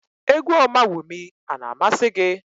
Égwú Ọmawumi a na-amasị gị?